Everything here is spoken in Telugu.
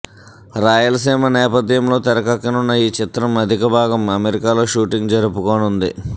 రాయలసీమ నేపథ్యంలో తెరకెక్కనున్న ఈ చిత్రం అధిక భాగం అమెరికాలో షూటింగ్ జరుపుకోనుంది